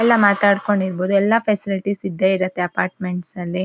ಎಲ್ಲಾ ಮಾತಾಡ್ಕೊಂಡ್ ಇರಬೋದು ಎಲ್ಲಾ ಫೆಸಿಲಿಟಿ ಸ್ ಇದ್ದೆ ಇರತ್ತೆ ಅಪಾರ್ಟ್ಮೆಂಟ್ಸ್ ಅಲ್ಲಿ.